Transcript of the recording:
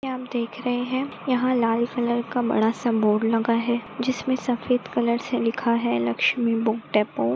हम देख रहे है यहाँ लाल कलर का बड़ा सा बोर्ड लगा है जिसमे सफ़ेद कलर से लिखा है लक्ष्मी बुक डेपो ।